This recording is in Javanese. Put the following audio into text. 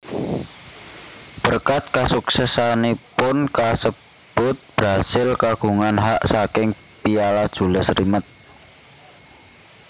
Berkat kasuksesanipun kasebut Brasil kagungan hak saking Piala Jules Rimet